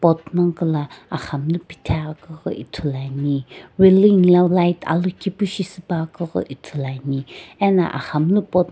pot nagoko aghamlu puthi akughi ithulu ane reling lae light alokae pu shi shipane ano aghamlu pot .